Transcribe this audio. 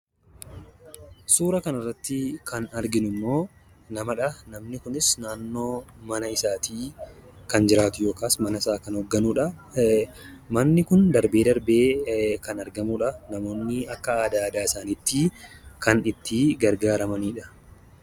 Suura kanarratti kan arginu immoo namadha. Namni kunis naannoo mana isaatii kan jiraatu yookaas manasaa kan hoogganudha. Manni kun darbee darbee kan argamudha. Namoonni akka aadaa aadaa isaaniitti kan itti gargaaramanidha.